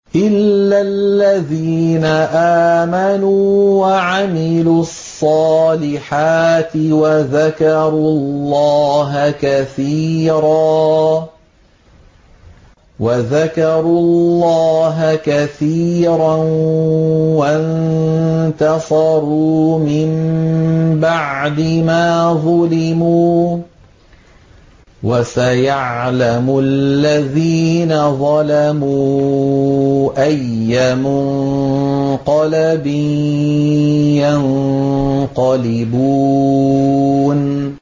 إِلَّا الَّذِينَ آمَنُوا وَعَمِلُوا الصَّالِحَاتِ وَذَكَرُوا اللَّهَ كَثِيرًا وَانتَصَرُوا مِن بَعْدِ مَا ظُلِمُوا ۗ وَسَيَعْلَمُ الَّذِينَ ظَلَمُوا أَيَّ مُنقَلَبٍ يَنقَلِبُونَ